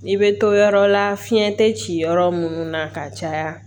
I bɛ to yɔrɔ la fiɲɛ tɛ ci yɔrɔ minnu na ka caya